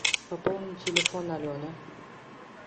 пополни телефон алены